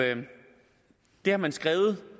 det har man skrevet